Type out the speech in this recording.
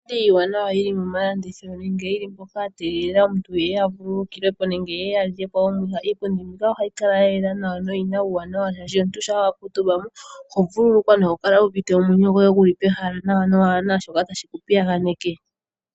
Iipundi iiwanawa yi li momalandithilo nenge yi li mpoka ya tegelela aantu ye ye ya vululukilwe po nenge ye ye ya lye omwiha. Iipundi mbika ohayi kala ya yela nawa noyi na uuwanawa, oshoka omuntu shampa wa kuutumba mo oho vululukwa noho kala wu uvite omwenyo goye gu li pehala kaapu na shoka tashi ku piyaganeke.